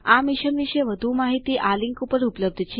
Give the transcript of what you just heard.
આ મિશન વિશે વધુ માહિતી આ લીંક ઉપર ઉપલબ્ધ છે